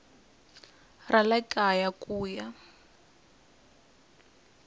ra le kaya ku ya